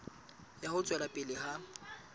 ya ho tswela pele ha